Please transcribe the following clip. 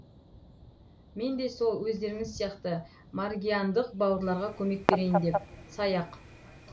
мен де сол өздеріңіз сияқты маргиандық бауырларға көмек берейін деп саяқ